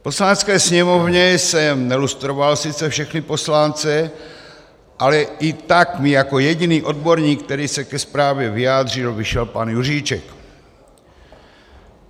V Poslanecké sněmovně jsem nelustroval sice všechny poslance, ale i tak mi jako jediný odborník, který se ke zprávě vyjádřil, vyšel pan Juříček.